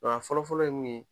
Nka fɔlɔ fɔlɔ ye mun ye